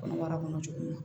Kɔnɔmaya kɔnɔ cogo min na